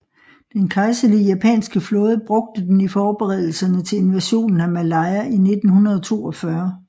Den kejserlige japanske flåde brugte den i forberedelserne til invasionen af Malaya i 1942